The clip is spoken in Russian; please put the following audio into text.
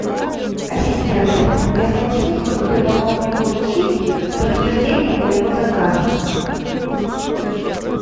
ассистент я хочу чтобы ты помог мне получить подтверждение моего заказа